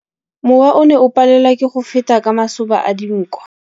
Mowa o ne o palelwa ke go feta ka masoba a dinko.